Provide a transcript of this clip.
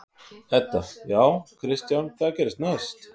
Edda: Já, Kristján, hvað gerist næst?